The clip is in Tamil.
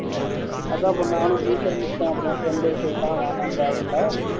அதான் நானும் முலிக்க ஆரம்பிச்சுட்டேன் அப்பறம் என் friend ஏ சொல்லீட்டான் வேணாம் தேவையில்லை